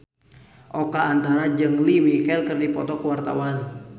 Oka Antara jeung Lea Michele keur dipoto ku wartawan